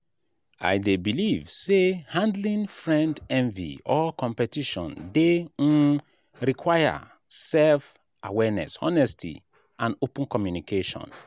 i dey believe say handling friend envy or competition dey um require self-awareness honesty and open communication.